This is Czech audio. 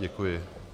Děkuji.